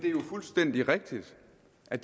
at